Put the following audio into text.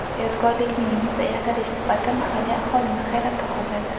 Yodgorlikning yasalish sifati mahalliy aholini hayratda qoldirdi.